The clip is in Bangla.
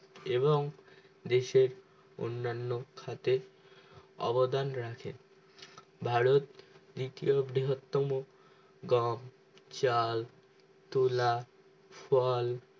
এবং দেহের অন্নান খাদের অবদান রাখে ভারত দ্বিতীয় বৃহৎতম গম চাল তুলা ফল